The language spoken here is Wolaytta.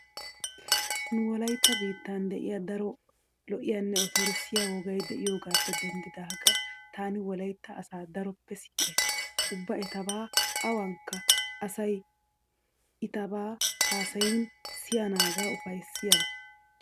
Nu wolaytta biittaan diya daro lo'iyanne otorssiya wogay diyogaappe denddidaagan taani wolaytta asaa daroppe siiqays. Ubba etaba awankka asay iitaba haasayin siyennaage ufayssiyaba.